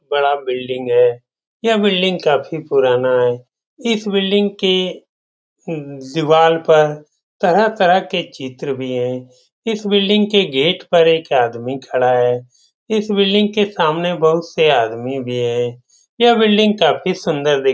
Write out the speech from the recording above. बड़ा बिल्डिंग है यह बिल्डिंग काफी पुराना है इस बिल्डिंग के दिवाल पर तरह-तरह के चित्र भी है इस बिल्डिंग के गेट पर एक आदमी भी खड़ा है इस बिल्डिंग के सामने बहुत से आदमी भी है यह बिल्डिंग काफी सुन्दर दिख --